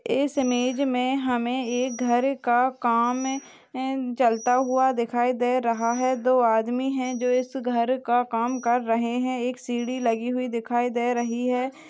इस इमेज मे हमे घर का काम चलता हुआ दिखाई दे रहा है दो आदमी है जो इस घर का काम कर रहे है एक सीडी लगी हुई दिखाई दे रही ह।